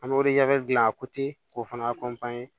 An bɛ gilan k'o fana